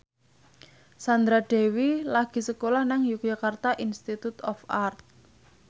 Sandra Dewi lagi sekolah nang Yogyakarta Institute of Art